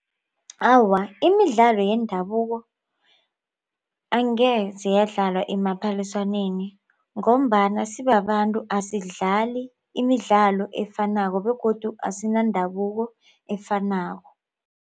Awa, imidlalo yendabuko angeze yadlalwa emaphaliswaneni ngombana sibabantu asidlali imidlalo efanako begodu asinandabuko efanako.